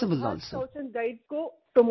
"